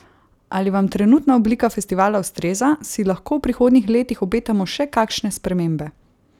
Ali vam trenutna oblika festivala ustreza, si lahko v prihodnjih letih obetamo še kakšne spremembe?